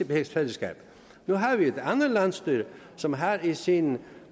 med rigsfællesskabet nu har vi et andet landsstyre som har i sin